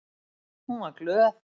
Hún var glöð.